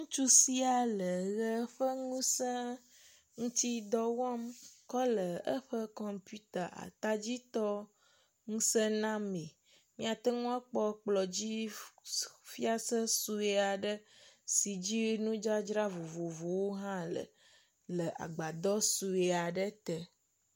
Ŋutsu sia le ʋe ƒe ŋusẽ ŋutidɔ wɔm kɔ le eƒe kɔmputa atadzi tɔ ŋuse name. Mía te akpɔ kplɔdzi nudzadzra sɔe aɖe si dzi nudzadzra vovovowo hã le le agbadɔ sɔe aɖe te.